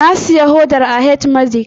Na siya hodar a H-medix